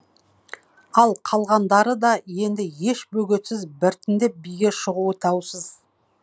ал қалғандары да енді еш бөгетсіз біртіндеп биге шығуы даусыз